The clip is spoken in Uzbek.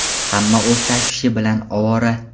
Hamma o‘z tashvishi bilan ovora.